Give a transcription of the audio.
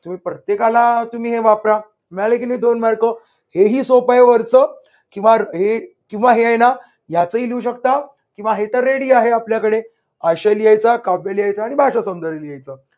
तुम्ही प्रत्येकाला तुम्ही हे वापरा मिळाले की नाही दोन mark हे हि सोप्प हाय वरच वापरा किंवा हे आहे ना याचही लिहू शकता किंवा हे तर ready आहे आपल्याकडे आशय लिहायचा, काव्य लिहायच आणि भाषासौंदर्य लिहायचं